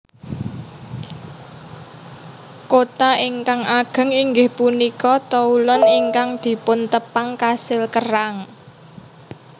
Kota ingkang ageng inggih punika Toulon ingkang dipuntepang kasil kerang